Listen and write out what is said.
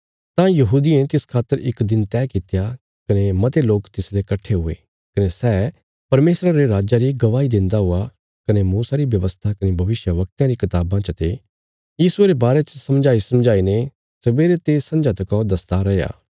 तां यहूदियें तिस खातर इक दिन तैह कित्या कने मते लोक तिसले कट्ठे हुये कने सै परमेशरा रे राज्जा री गवाही देन्दा हुआ कने मूसा री व्यवस्था कने भविष्यवक्तयां री कताबां चते यीशुये रे बारे च समझाईसमझाई ने सवेरे ते संझा तका दसदा रैया